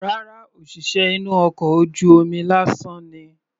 Rárá, òṣìṣẹ́ inú ọkọ̀ ojú omi lásán ni.